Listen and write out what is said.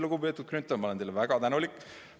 Lugupeetud Grünthal, ma olen teile väga tänulik.